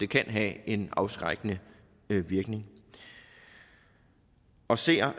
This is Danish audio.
kan have en afskrækkende virkning jeg ser